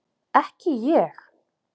Ekki ég!